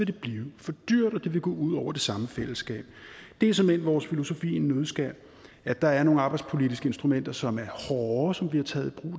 det blive for dyrt og det ville gå ud over det samme fællesskab det er såmænd vores filosofi i en nøddeskal at der er nogle arbejdspolitiske instrumenter som er hårde som bliver taget i